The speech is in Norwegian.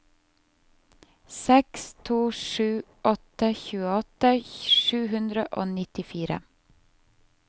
seks to sju åtte tjueåtte sju hundre og nittifire